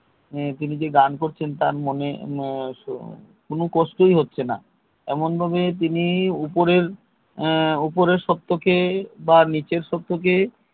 তিনি যে গান করছেন তার মনে কোনো কষ্টই হচ্ছে না এমন ভাবে তিনি উপরের উপরের সত্ব কে নীচের সত্ব কে